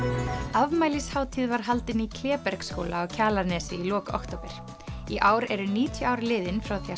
afmælishátíð var haldin í Klébergsskóla á Kjalarnesi í lok október í ár eru níutíu ár liðin frá því að